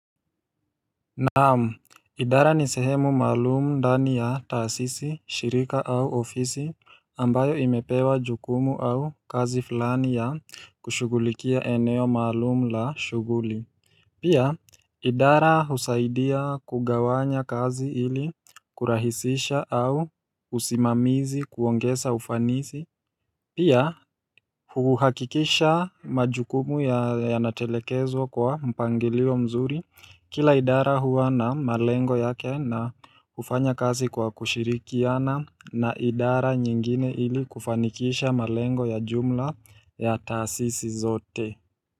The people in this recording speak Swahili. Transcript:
Naamu, idara ni sehemu maalumu ndani ya taasisi, shirika au ofisi ambayo imepewa jukumu au kazi fulani ya kushugulikia eneo maalumu la shuguli Pia, idara husaidia kugawanya kazi ili kurahisisha au usimamizi kuongesa ufanisi Pia huhakikisha majukumu ya natelekezwa kwa mpangilio mzuri kila idara huwa na malengo yake na ufanya kazi kwa kushirikiana na idara nyingine ili kufanikisha malengo ya jumla ya taasisi zote.